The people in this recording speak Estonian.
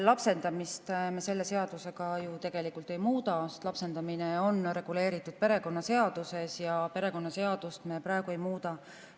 Lapsendamist me selle seadusega ju tegelikult ei muuda, sest lapsendamine on reguleeritud perekonnaseaduses ja perekonnaseadust me praegu ei muuda.